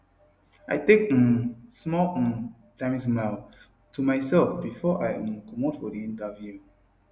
i take um small um timesmile to myself before i um comot for the interview